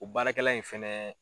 O baarakɛlan in fɛnɛ